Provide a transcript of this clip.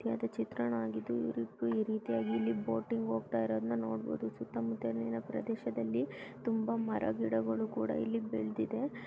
ಇದೊಂದು ಚಿತ್ರಣವಾಗಿದ್ದು ಇವ್ರ್ ಇಬ್ರು ಈ ರೀತಿಯಾಗಿ ಇಲ್ಲಿ ಬೋಟಿಂಗ್ ಹೋಗ್ತಾ ಇರೋದನ್ನ ನೋಡಬಹುದು ಸುತ್ತ ಮುತ್ತಲಿನ ಪ್ರದೇಶದಲ್ಲಿ ತುಂಬಾ ಮರ ಗಿಡಗಳು ಕೂಡ ಇಲ್ಲಿ ಬೆಳೆದಿದೆ .